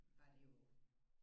Var det jo